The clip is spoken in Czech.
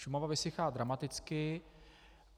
Šumava vysychá dramaticky.